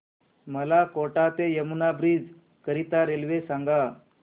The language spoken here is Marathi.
मला कोटा ते यमुना ब्रिज करीता रेल्वे सांगा